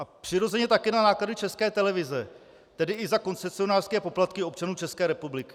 A přirozeně také na náklady České televize, tedy i za koncesionářské poplatky občanů České republiky.